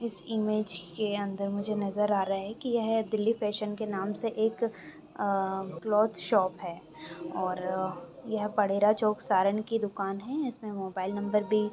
इस image के अंदर मुझे नज़र आ रहा है की ये दिल्ली के नाम से क्लॉथ शॉप है और यह परेरा चौक सारन की दुकान हे इसमे मोबाईल नंबर भी--